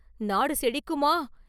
நாடு செழிக்குமா?